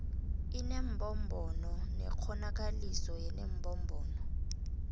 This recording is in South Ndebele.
inembombono nekghonakaliso yenembombono